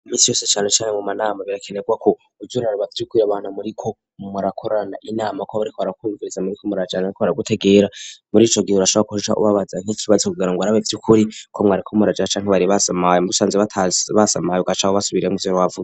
Imisi yose canecane mu manama birakenerwa ko uza uraraba vy'ukuri abantu muriko murakorana inama ko bariko barakumviriza, muriko murajana bariko baragutegera, muri ico gihe urashobora guca ubabaza nk'ikibazo kugira ngo urabe vy'ukuri ko mwariko murajara canke bari basamaye, musanze basamaye ugaca ubasubiriramwo ivyo bavuze.